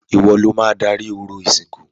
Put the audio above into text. Ìwo lo máa darí orò ìsìnkú.